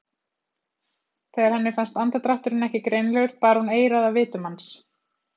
Þegar henni fannst andardrátturinn ekki greinilegur bar hún eyrað að vitum hans.